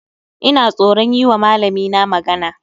Ina tsoron yiwa malamina magana